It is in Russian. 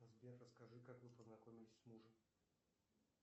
сбер расскажи как вы познакомились с мужем